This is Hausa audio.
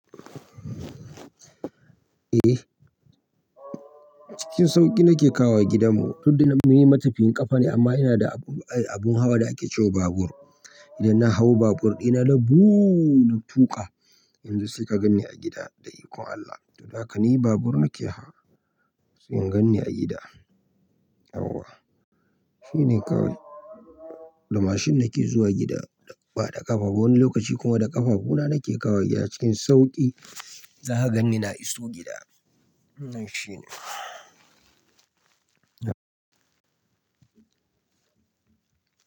Eh, cikin sauƙi nake kawowa gidanmu. Tunda ni mai matafiyin ƙafa ne amma ina da abun ai abun hawa da ake ce wa babur. Idan na hau babur ɗina nabuu na tuƙa, yanzu saika gan ni a gida da ikon Allah. To dahaka ni babur nake hawa sai ingan ni a gida. Yauwa shine kawai da mashin nake zuwa gida, ba da ƙafa. Wani lokaci kuma da ƙafafuna nake kawowa gida cikin sauƙi. Za ka gan ni na iso gida. Nan shi ne.